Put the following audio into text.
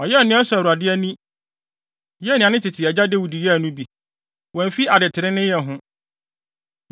Ɔyɛɛ nea ɛsɔ Awurade ani, yɛɛ nea ne tete agya Dawid yɛe no bi. Wamfi adetreneeyɛ ho.